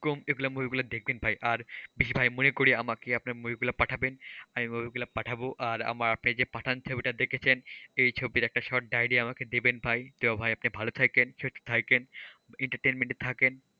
কুম এই movie গুলো দেখবেন ভাই আর ভাই মনে করে আমাকে আপনার movie গুলো পাঠাবেন, আমি movie গুলো পাঠাবো আর আপনি যে পাঠান ছবিটা দেখেছেন সেই ছবির একটা short diary আমাকে দেবেন ভাই। তো ভাই আপনি ভালো থাকেন, সুস্থ থাকেন entertainment এ থাকেন,